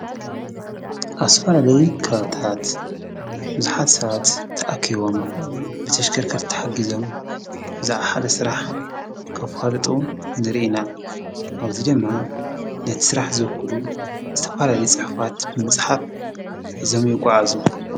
ኣብዚ ዝተፈላለየ ከባቢታት ብዙሓት ሰባት ተኣኪቦም ብተሽከርከርቲ ተሓጊዞም ብዛዕባ ሓደ ስራሕ ከፋልጡ ንርኢ ኢና፡፡ ኣብዚ ድማ ነቲ ስራሕ ዘኽእሉ ዝተፈላለዩ ፅሑፋት ንምፅሓፍ ሒዞም ይጓዓዙ፡፡